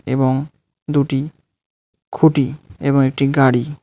এবং দুটি খুঁটি এবং একটি গাড়ি.